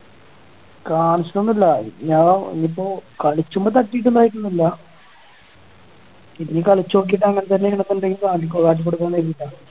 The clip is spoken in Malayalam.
കാണിച്ചിട്ടൊന്നും ഇല്ല ഇനി ഞാ ഇനീപ്പോ കളിച്ചുമ്പോ തട്ടീട്ട് ഉണ്ടായേക്കണ ഒന്നും അല്ല ഇനി കളിച്ചു നോക്കീട്ട് അങ്ങനെ തന്നെണ് ണ്ടെങ്കിൽ കാട്ടിക്കൊടുക്കാ കരുതീട്ടാ